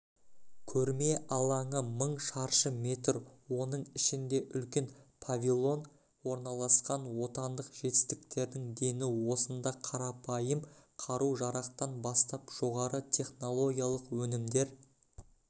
көрме алаңы мың шаршы метр оның ішінде үлкен павильон орналасқан отандық жетістікердің дені осында қарапайым қару-жарақтан бастап жоғары технологиялық өнімдер